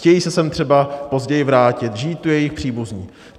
Chtějí se sem třeba později vrátit, žijí tu jejich příbuzní.